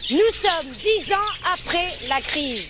Nous sommes dix ans après la crise.